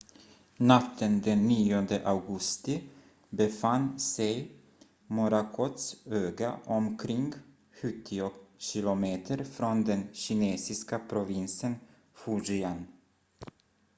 natten den 9 augusti befann sig morakots öga omkring sjuttio kilometer från den kinesiska provinsen fujian